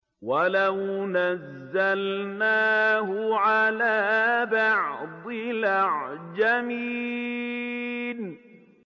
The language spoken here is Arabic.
وَلَوْ نَزَّلْنَاهُ عَلَىٰ بَعْضِ الْأَعْجَمِينَ